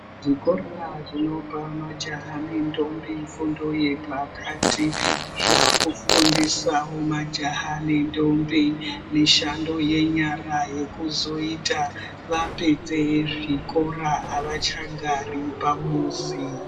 Zvikora zvinopa majaha nentombi fundo yepakati zvakufundise majaha nentombi mishando yenyara yekuzoita vapedze zvikora avachagari pamuzi.